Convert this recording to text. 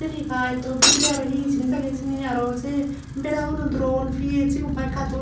ini pai tuo bidirey arow he he jinich agey hijeni aro se beraguno dron piyet se katun ag.